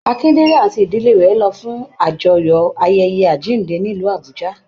Akindele àti ìdílé rẹ lọ fún àjọyọ̀ ayẹyẹ àjínde nílu Abùjá.